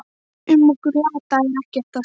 Um okkur lata er ekkert að segja.